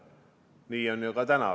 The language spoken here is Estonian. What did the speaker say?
Nii on ka täna.